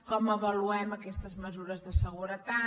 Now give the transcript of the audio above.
com avaluem aquestes mesures de seguretat